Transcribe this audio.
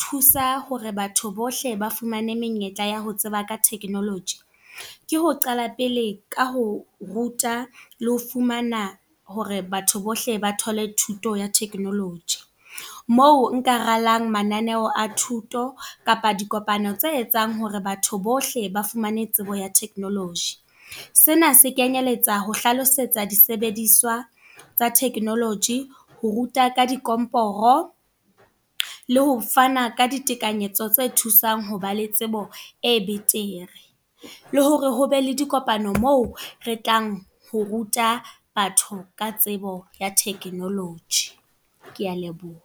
thusa hore batho bohle ba fumane menyetla ya ho tseba ka technology. Ke ho qala pele ka ho ruta, le ho fumana hore batho bohle ba thole thuto ya technology. Moo nka ralang mananeo a thuto, kapa dikopano tse etsang hore batho bohle ba fumane tsebo ya technology. Sena se kenyeletsa ho hlalosetsa disebediswa tsa technology, ho ruta ka dikomporo le ho fana ka ditekanyetso tse thusang ho ba le tsebo e betere. Le hore hobe le dikopano moo re tlang ho ruta batho ka tsebo ya technology. Ke a leboha.